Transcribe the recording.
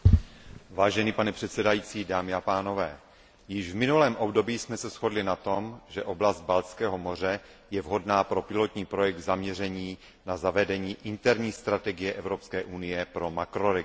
Vážený předsedající, dámy a pánové, již v minulém období jsme se shodli na tom, že oblast Baltského moře je vhodná pro pilotní projekt zaměřený na zavedení interní strategie EU pro makroregion.